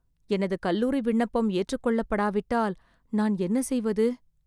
எனது கல்லூரி விண்ணப்பம் ஏற்றுக் கொள்ள படாவிட்டால் நான் என்ன செய்வது!